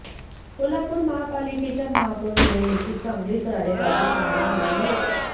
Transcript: कोल्हापूर महापालिकेच्या महापौर निवडणुकीत चांगलीच राडेबाजी पाहायला मिळाली होती